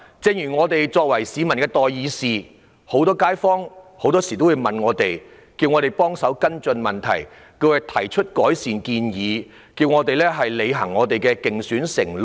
正如我們作為市民的代議士，街坊很多時候也會向我們提出查詢，要求我們跟進一些問題，亦會提出改善建議，並要求我們履行競選承諾。